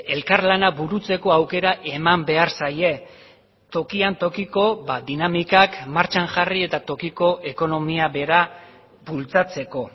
elkarlana burutzeko aukera eman behar zaie tokian tokiko dinamikak martxan jarri eta tokiko ekonomia bera bultzatzeko